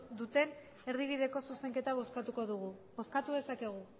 duten erdibideko zuzenketa bozkatuko dugu bozkatu dezakegu